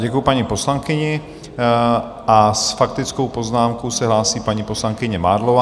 Děkuji paní poslankyni a s faktickou poznámkou se hlásí paní poslankyně Mádlová.